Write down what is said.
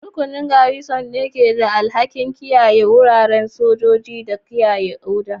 Rukunin Garrison ne ke da alhakin kiyaye wuraren sojoji da kiyaye oda.